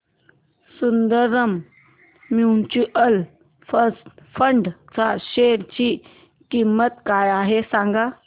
Sundaram mutual fund च्या share ची किंमत काय आहे सांगा